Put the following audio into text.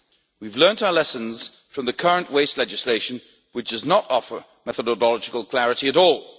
We have learned our lessons from the current waste legislation, which does not offer methodological clarity